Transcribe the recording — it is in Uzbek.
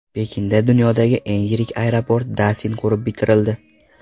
Pekinda dunyodagi eng yirik aeroport Dasin qurib bitirildi.